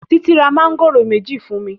Titi ra Mángòrò méjì fún mí